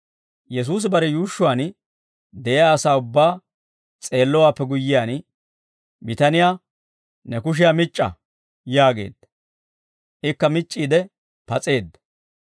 Yesuusi bare yuushshuwaan de'iyaa asaa ubbaa s'eellowaappe guyyiyaan bitaniyaa, «Ne kushiyaa mic'c'a!» yaageedda. Ikka mic'c'iide pas'eedda.